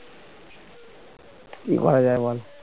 কী করা যায় বল